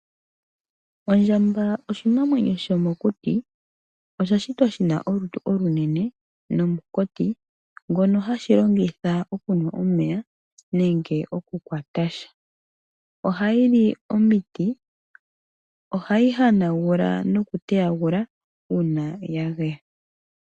Ondjamba oshinamwenyo shomokuti. Osha shitwa shi na olutu olunene nomunkati ngono hashi longitha okunwa omeya nenge okukwata sha. Ohayi li omiti, ohayi hanagula nokuteyagula uuna ya geya.